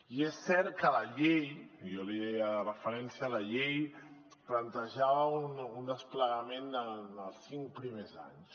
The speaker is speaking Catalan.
i és cert que la llei i jo li deia de referència la llei plantejava un desplegament en els cinc primers anys